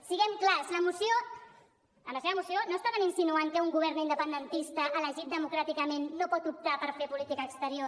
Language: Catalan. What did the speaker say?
siguem clars amb la seva moció no deuen estar insinuant que un govern independentista elegit democràticament no pot optar per fer política exterior